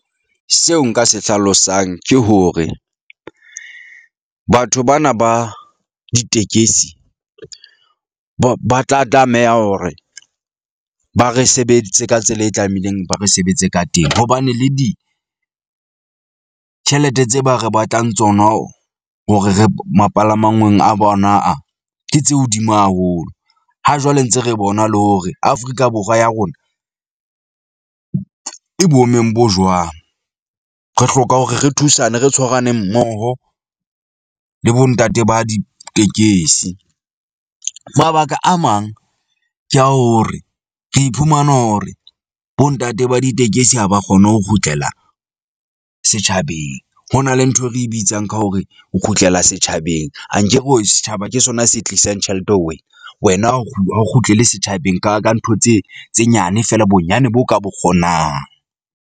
Seo nka se hlalosang ke hore, batho bana ba ditekesi ba ba tla tlameha hore ba re sebeditse ka tsela e tlameileng ba re sebetse ka teng. Hobane le ditjhelete tse ba re batlang tsona hore re mapalamanngweng a bona a. Ke tse hodimo haholo. Ha jwale ntse re bona le hore Afrika Borwa ya rona e boemong bo jwang. Re hloka hore re thusane, re tshwarane mmoho le bo ntate ba ditekesi. Mabaka a mang ke ya hore re iphumana hore bo ntate ba ditekesi ha ba kgone ho kgutlela setjhabeng. Ho na le ntho e re bitsang ka hore o kgutlela setjhabeng. Ankere hore setjhaba ke sona se tlisang tjhelete ho wena, wena o ha o kgutlele setjhabeng ka ka ntho tse tse nyane fela bonyane bo ka bo kgonang.